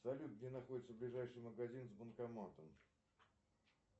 салют где находится ближайший магазин с банкоматом